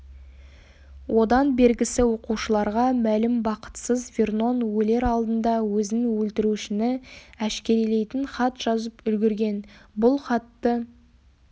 одан бергісі оқушыларға мәлім бақытсыз вернон өлер алдында өзін өлтірушіні әшкерелейтін хат жазып үлгірген бұл хатты